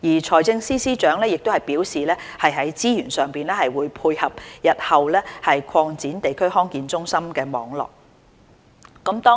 財政司司長已表示會在資源上配合日後擴展地區康健中心網絡。